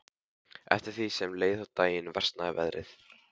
Eftir því sem leið á daginn versnaði veðrið.